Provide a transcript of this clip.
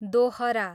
दोहरा